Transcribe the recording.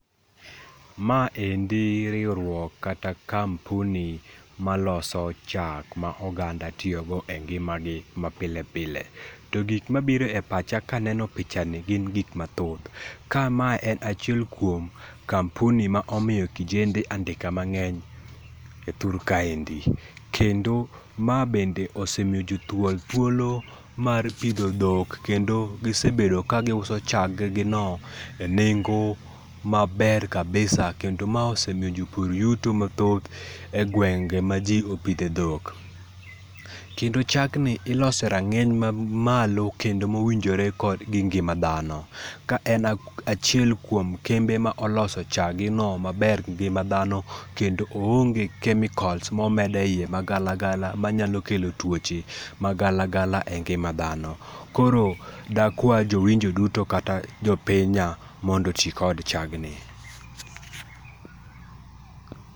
Maendi riwruok kata kampuni maloso chak ma oganda tiyogo e ngima gi mapile pile. To gik mabiro e pacha kaneno pichani gin gik mathoth. Ka ma en achiel kuom kampuni ma omiyo kijende andika mang'eny e thur kaendi. Kendo ma bende osemiyo jothuol thuolo mar pidho dhok kendo gisebedo ka giuso chag gi no e nengo maber kabisa kendo ma osemiyo jopur yuto mathoth e gwenge ma ji opidhe dhok. Kendo chag ni iloso e rang'eny mamalo kendo mowinjore kod gi ngima dhano. Ka en achiel kuom kembe ma oloso chag gi no maber gi ngima dhano kendo oonge chemicals momed eiye magalagala manyalo kelo tuoche magalagala e ngima dhano. Koro dakwa jowinjo duto kata jopinya mondo oti kod chag ni.